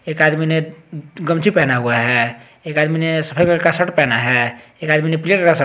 एक आदमी ने गमछी पहना हुआ है एक आदमी ने सफेद रंग का शर्ट पहना है एक आदमी ने